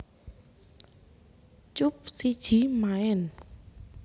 Cup siji maen